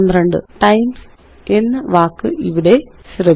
times എന്ന വാക്ക് ഇവിടെ ശ്രദ്ധിക്കുക